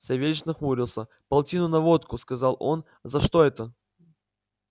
савельич нахмурился полтину на водку сказал он за что это